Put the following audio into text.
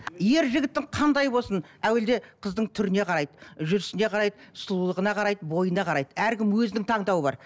ер жігіттің қандай болсын әуелде қыздың түріне қарайды жүрісіне қарайды сұлулығына қарайды бойына қарайды әркім өзінің таңдауы бар